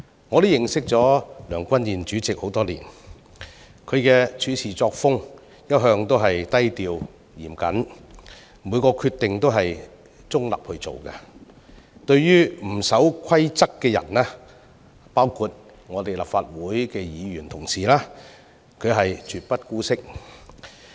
我與梁君彥主席相識多年，其處事作風向來低調嚴謹，以中立的立場作出每個決定，而對不守規則的人包括立法會的議員同事，他絕不姑息。